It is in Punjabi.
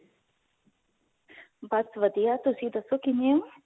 ਬਸ ਵਧੀਆ ਤੁਸੀਂ ਦੱਸੋ ਕਿਵੇਂ ਹੋ